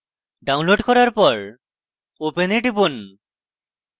downloading করার পর open এ টিপুন